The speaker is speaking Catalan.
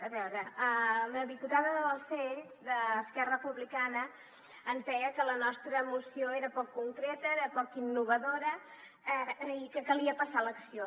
a veure la diputada balsera d’esquerra republicana ens deia que la nostra moció era poc concreta era poc innovadora i que calia passar a l’acció